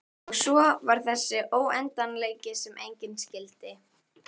Og svo var það þessi óendanleiki sem enginn skildi.